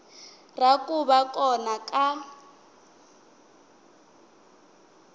ra ku va kona ka